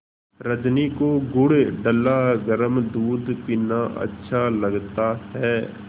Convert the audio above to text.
रजनी को गुड़ डला गरम दूध पीना अच्छा लगता है